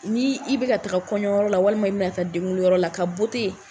N'i i bi ka taa kɔɲɔyɔrɔ la walima i bina taa denwuluyɔrɔ la, a ka